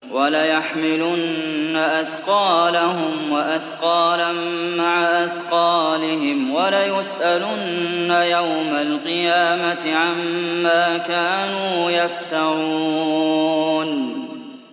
وَلَيَحْمِلُنَّ أَثْقَالَهُمْ وَأَثْقَالًا مَّعَ أَثْقَالِهِمْ ۖ وَلَيُسْأَلُنَّ يَوْمَ الْقِيَامَةِ عَمَّا كَانُوا يَفْتَرُونَ